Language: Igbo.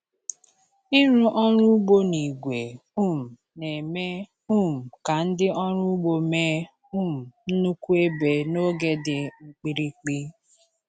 Ịrụ ọrụ ugbo na igwe um na-eme um ka ndị ọrụ ugbo mee um nnukwu ebe n’oge dị mkpirikpi.